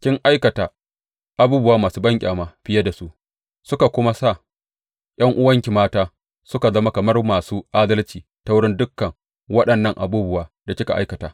Kin aikata abubuwa masu banƙyama fiye da su, suka kuma sa ’yan’uwanki mata suka zama kamar masu adalci ta wurin dukan waɗannan abubuwa da kika aikata.